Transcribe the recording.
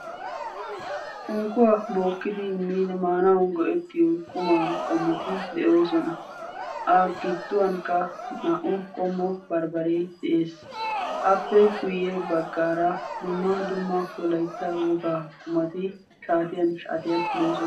unkkuwa bookidi maanaw go''ettiyo qumaa qommoti de'oosona. a gidduwankka naa''u qommo barbbaree de'ees. appe guyye abggaara dumma dumma wolaytta wogaa qumati shaatiyan shaatiyan de'oosona.